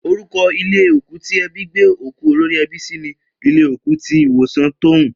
Orúko̩ ilé òkú tí e̩bí gbé òkú olórí e̩bí sí ni ilé òkú ti ilé ìwòsàn Tóún